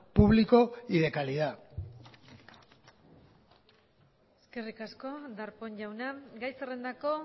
público y de calidad eskerrik asko darpón jauna gai zerrendako